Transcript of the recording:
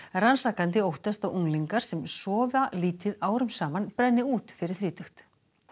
rannsakandi óttast að unglingar sem sofa lítið árum saman brenni út fyrir þrítugt